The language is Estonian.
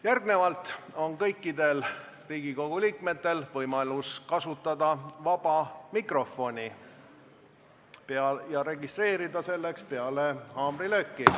Järgnevalt on kõikidel Riigikogu liikmetel võimalus kasutada vaba mikrofoni ja registreeruda selleks peale haamrilööki.